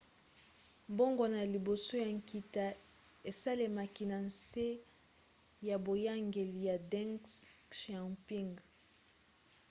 mbongwana ya liboso ya nkita esalemaki na nse ya boyangeli ya deng xiaoping